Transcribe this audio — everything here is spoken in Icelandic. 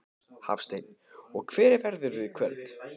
Hafsteinn: Og hver verðurðu í kvöld?